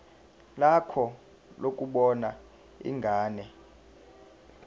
lakho lokubona ingane